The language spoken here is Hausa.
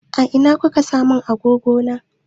A ina kuka sa mun agogo na?